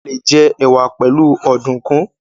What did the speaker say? a lẹ jẹ ẹwà pẹlu Ọ̀dùnkún.